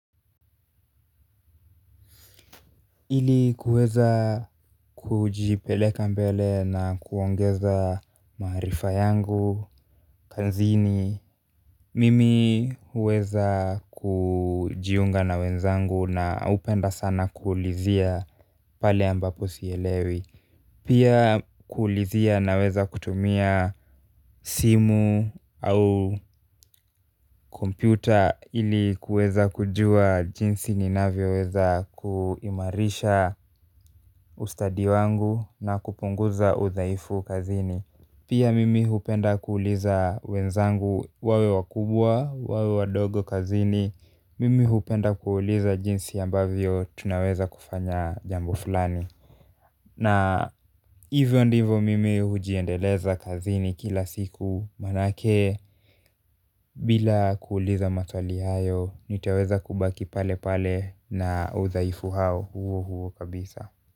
Ili kuweza kujipeleka mbele na kuongeza maarifa yangu kazini mimi huweza kujiunga na wenzangu na hupenda sana kuulizia pale ambapo sielewi pia kuulizia naweza kutumia simu au kompyuta ili kuweza kujua jinsi ninavyoweza kuimarisha ustadi wangu na kupunguza udhaifu kazini pia mimi hupenda kuuliza wenzangu wawe wakubwa, wawe wadogo kazini mimi hupenda kuuliza jinsi ambavyo tunaweza kufanya jambo fulani na hivyo ndivyo mimi hujiendeleza kazini kila siku manake bila kuuliza maswali hayo nitaweza kubaki palepale na udhaifu huo huo kabisa.